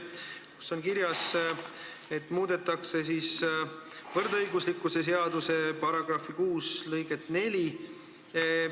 Siin on kirjas, et muudetakse soolise võrdõiguslikkuse seaduse § 6 lõiget 4.